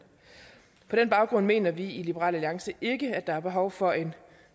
på den baggrund mener vi i liberal alliance ikke at der er behov for en